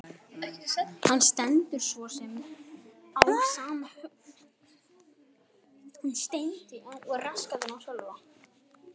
Henni stendur svo sem á sama um hugsanir Agnesar.